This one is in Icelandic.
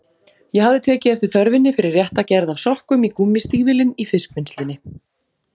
Ég hafði tekið eftir þörfinni fyrir rétta gerð af sokkum í gúmmístígvélin í fiskvinnslunni.